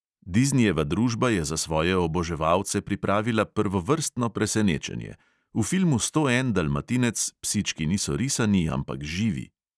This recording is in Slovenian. Diznijeva družba je za svoje oboževalce pripravila prvovrstno presenečenje: v filmu sto en dalmatinec psički niso risani, ampak živi.